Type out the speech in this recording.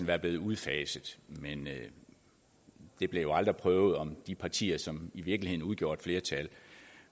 var blevet udfaset men det blev jo aldrig prøvet om de partier som i virkeligheden udgjorde et flertal